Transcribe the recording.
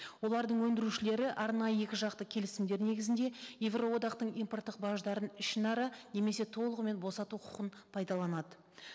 олардың өндірушілері арнайы екіжақты келісімдер негізінде еуроодақтың импорттық баждарын ішінара немесе толығымен босату құқын пайдаланады